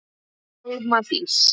Alma Dís.